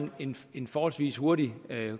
en en forholdsvis hurtig